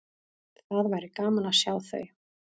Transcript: Það væri gaman að sjá þau.